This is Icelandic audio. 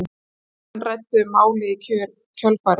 Þingmenn ræddu um málið í kjölfarið